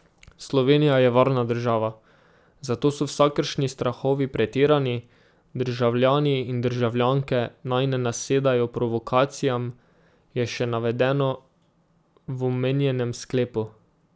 Slovenija je varna država, zato so vsakršni strahovi pretirani, državljani in državljanke naj ne nasedajo provokacijam, je še navedeno v omenjenem sklepu.